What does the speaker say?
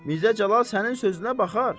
Mirzə Cəlal sənin sözünə baxar.